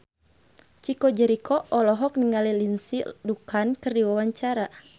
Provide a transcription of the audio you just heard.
Chico Jericho olohok ningali Lindsay Ducan keur diwawancara